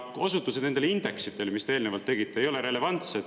Aga osutused nendele indeksitele, mis te eelnevalt tegite, ei ole relevantsed.